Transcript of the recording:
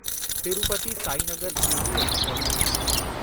Tirupati Sainagar Shirdi express